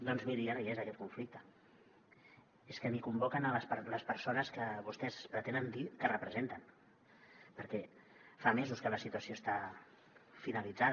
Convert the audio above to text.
doncs miri ja no hi és aquell conflicte és que ni convoquen les persones que vostès pretenen dir que representen perquè fa mesos que la situació està finalitzada